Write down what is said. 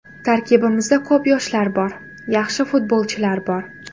Tarkibimizda ko‘p yoshlar bor, yaxshi futbolchilar bor.